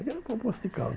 Eu vou para Poço de Caldas.